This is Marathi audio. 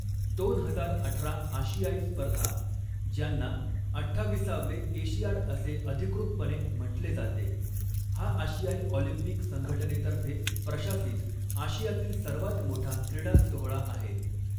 दोन हजार अठरा आशियाई स्पर्धा, ज्यांना अठ्ठाविसावे एशियाड असे अधिकृतपणे म्हंटले जाते, हा आशियाई ऑलिम्पिक संघटनेतर्फे प्रशासित आशियातील सर्वांत मोठा क्रीडा सोहळा आहे.